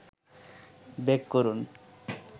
bake করুন